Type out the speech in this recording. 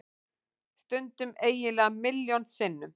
Stundum eiginlega milljón sinnum.